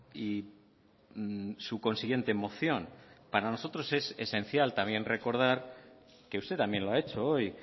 y su consiguiente moción para nosotros es esencial también recordar que usted también lo ha hecho hoy